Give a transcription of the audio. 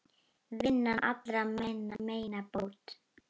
Vinnan allra meina bót.